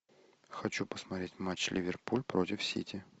хочу посмотреть матч ливерпуль против сити